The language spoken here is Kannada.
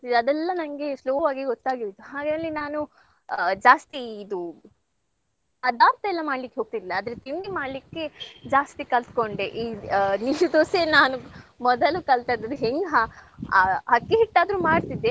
ಅದೆಲ್ಲಾ ನಂಗೆ slow ಆಗಿ ಗೊತ್ತಾಗೋಯ್ತು. ಹಾಗಾಗಿ ನಾನು ಜಾಸ್ತಿ ಇದು ಪದಾರ್ಥ ಎಲ್ಲ ಮಾಡ್ಲಿಕ್ಕೆ ಹೋಗ್ತಿರ್ಲಿಲ್ಲ. ಆದ್ರೆ ತಿಂಡಿ ಮಾಡ್ಲಿಕ್ಕೆ ಜಾಸ್ತಿ ಕಲ್ತ್ಕೊಂಡೆ ಈ ಆ ದೋಸೆ ನಾನು ಮೊದಲು ಕಲ್ತದ್ದು ಅದ್ ಹೆಂಗ್ ಹ~ ಆ ಅಕ್ಕಿ ಹಿಟ್ಟಾದ್ರು ಮಾಡ್ತಿದ್ದೆ.